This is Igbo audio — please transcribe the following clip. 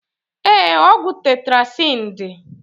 Ee, ọgwụ tetrasin dị.